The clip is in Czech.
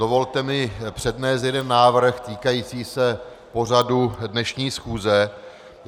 Dovolte mi přednést jeden návrh týkající se pořadu dnešní schůze.